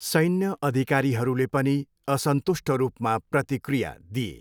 सैन्य अधिकारीहरूले पनि असन्तुष्ट रूपमा प्रतिक्रिया दिए।